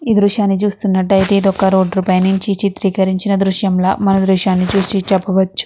ఈ దృశ్యాన్ని చూస్తున్నటైతే ఇది ఒక రోడ్ పైన నుంచి చిత్రీకరించిన దృశ్యం ల మనం ఈ దృశ్యాన్ని చూసి చెప్పవచ్చు.